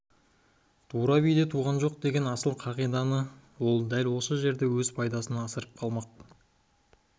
тура биде туған жоқ деген асыл қағиданы ол дәл осы жерде өз пайдасына асырып қалмақ